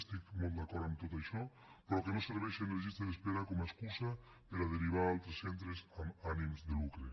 estic molt d’acord amb tot això però que no serveixin les llistes d’espera com a excusa per a derivar a altres centres amb ànims de lucre